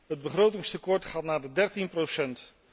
Het begrotingstekort gaat naar de 13 procent.